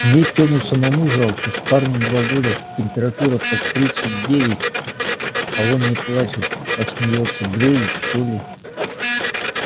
мне тёму самому жалко парню два года температура под тридцать девять а он не плачет а смеётся бредит что ли